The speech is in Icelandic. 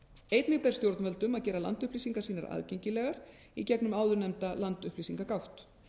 einnig ber stjórnvöldum að gera landupplýsingar sínar aðgengilegar í gegnum áðurnefnda landupplýsingagátt